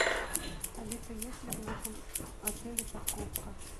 алиса есть ли в нашем отеле парковка